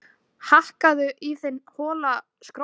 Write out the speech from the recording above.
Hakkaðu í þinn hola skrokk